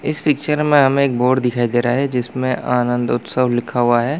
इस पिक्चर में हमे एक बोर्ड दिखाई दे रहा है जिसमें आनंद उत्सव लिखा हुआ है।